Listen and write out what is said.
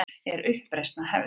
Er uppreisnin að hefjast?